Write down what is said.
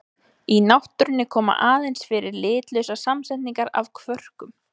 Í náttúrunni koma aðeins fyrir litlausar samsetningar af kvörkum.